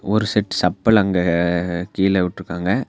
ஒரு செட் சப்பல் அங்க கீழ விட்ருக்காங்க.